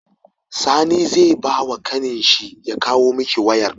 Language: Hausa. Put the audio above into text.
Sani ze bawa ƙanin shi ya kawo miki wayar